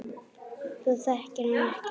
Þú þekkir hann ekkert.